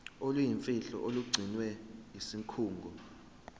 oluyimfihlo olugcinwe yisikhungo